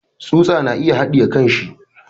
Tsusa na yin haɗe kanshi.